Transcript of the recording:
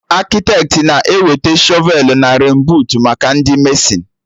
Akịtetị na-eweta shọvelụ na renbuut maka Ndị mesịn